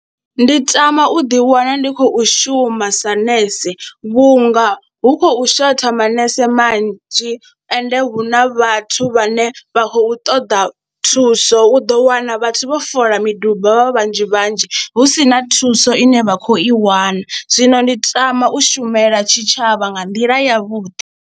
Ndi tama u ḓiwana ndi khou shuma sa nese vhunga hu khou shotha manese manzhi ende hu na vhathu vhane vha khou ṱoḓa thuso u ḓo wana vhathu vho foḽa miduba vha vhanzhi vhanzhi hu si na thuso ine vha khou i wana, zwino ndi tama u shumela tshitshavha nga nḓila yavhuḓi.